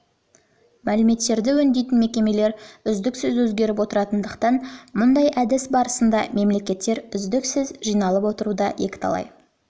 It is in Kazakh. мәліметтерді өңдейтін мекемелер үздіксіз өзгеріп отыратындықтан мұндай әдіс барысында мәліметтердің үздіксіз жиналып отыруы да екіталай